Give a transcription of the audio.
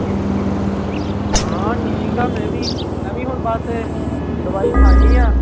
ਹਾਂ ਠੀਕ ਹਾਂ ਮੈਂ ਵੀ ਮੈਂ ਵੀ ਹੁਣ ਬਸ ਦਵਾਈ ਖਾਣੀ ਆਂ।